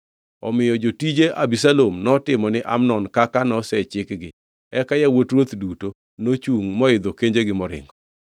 Omiyo jotije Abisalom notimo ni Amnon kaka nosechikgi. Eka yawuot ruoth duto nochungʼ moidho kanjegi moringo.